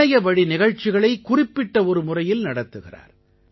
இணையவழி நிகழ்ச்சிகளை குறிப்பிட்ட ஒரு முறையில் நடத்துகிறார்